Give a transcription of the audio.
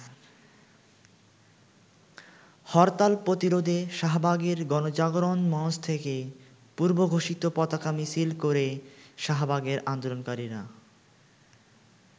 হরতাল প্রতিরোধে শাহবাগের গণজাগরণ মঞ্চ থেকে পূর্বঘোষিত পতাকা মিছিল করে শাহবাগের আন্দোলনকারীরা।